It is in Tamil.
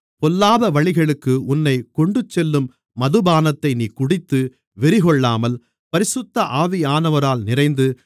பொல்லாதவழிக்கு உன்னைக் கொண்டுச்செல்லும் மதுபானத்தை நீ குடித்து வெறிகொள்ளாமல் பரிசுத்த ஆவியானவரால் நிறைந்து